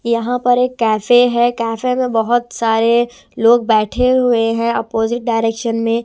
यहां पर एक कैफे है कैफे में बहुत सारे लोग बैठे हुए हैं अपोजिट डायरेक्शन में.